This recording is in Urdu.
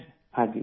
ہاں جی!